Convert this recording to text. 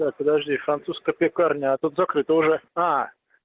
так подожди французская пекарня а тут закрыто же